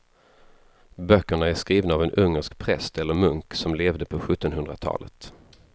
Böckerna är skrivna av en ungersk präst eller munk som levde på sjuttonhundratalet.